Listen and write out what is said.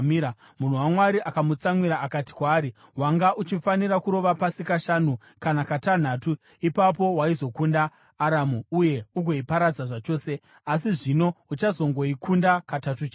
Munhu waMwari akamutsamwira akati kwaari, “Wanga uchifanira kurova pasi kashanu kana katanhatu; ipapo waizokunda Aramu uye ugoiparadza zvachose. Asi zvino uchazongoikunda katatu chete.”